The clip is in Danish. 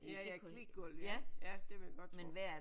Ja ja klikgulv ja det vil jeg godt tro